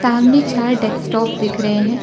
सामने चार डेस्कटॉप दिख रहे है।